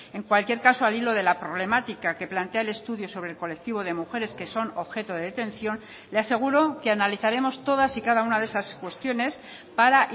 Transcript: en cualquier caso al hilo de la problemática que plantea el estudio sobre el colectivo de mujeres que son objeto de detención le aseguro que analizaremos todas y cada una de esas cuestiones para